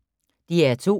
DR2